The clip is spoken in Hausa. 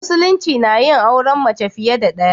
Musulunci nayin auren mace fiye da ɗaya.